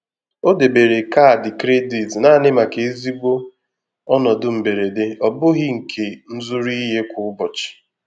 O debere kaadị kredit naanị maka ezigbo ọnọdụ mberede, ọ bụghị nke nzuru ihe kwa ụbọchị.